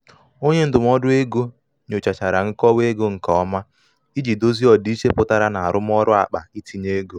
onye ndụmọdụ um ego nyochachara nkọwa ego nke ọma iji dozie ọdịiche pụtara na arụmọrụ um akpa um itinye ego.